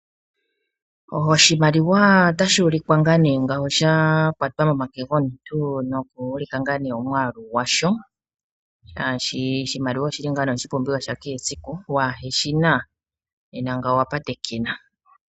Oshimaliwa otashi ulikwa sha kwatwa momake gomuntu noku ulika omwaalu gwasho, shaashi oshimaliwa oshi li ngaa nee oshipumbiwa sha kehe esiku. Waa he shi na nena ngawo owa patekena.